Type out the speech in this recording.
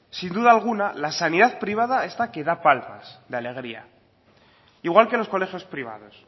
sin duda alguna la sanidad privada esta que da palmas de alegría igual que los colegios privados